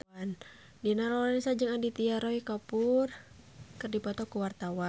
Dina Lorenza jeung Aditya Roy Kapoor keur dipoto ku wartawan